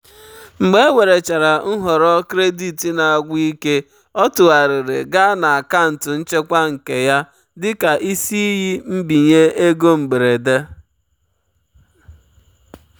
mgbe ewerechara nhọrọ kredit na-agwụ ike ọ tụgharịrị gaa na akaụntụ nchekwa nke ya dị ka isi iyi mbinye ego mberede.